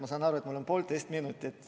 Ma saan aru, et mul on poolteist minutit ...